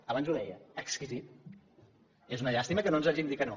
abans ho deia exquisit és una llàstima que ens hagin dit que no